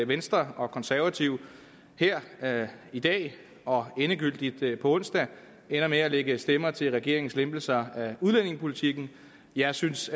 venstre og konservative her her i dag og endegyldigt på onsdag ender med at lægge stemmer til regeringens lempelser af udlændingepolitikken jeg synes